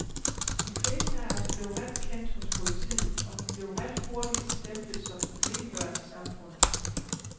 De fleste af os blev ret kendt hos politiet, og vi blev ret hurtigt stemplet som problembørn i samfundet.